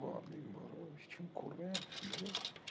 чем кормят